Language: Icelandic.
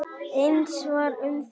Eins var um þig.